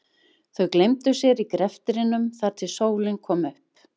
Þau gleymdu sér í greftrinum þar til sólin kom upp.